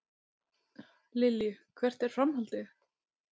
Lillý: Hvert er framhaldið?